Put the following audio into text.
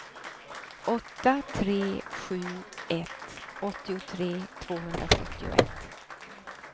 åtta tre sju ett åttiotre tvåhundrasjuttioett